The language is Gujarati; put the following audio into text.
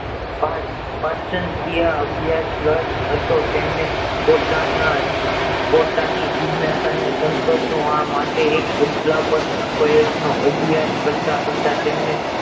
પોતાના પોતાની જીગ્નાસા ને સતોષ વા માટે એક અભ્યાસ કરતા કરતા તેમને